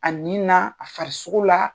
A ni na , a farisogo la.